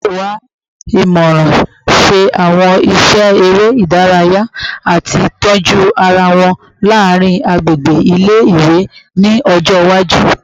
Wọn yoo wa imọran, ṣe awọn iṣẹ ere idaraya, ati tọju ara wọn laarin agbegbe ile-iwe ni ọjọ iwaju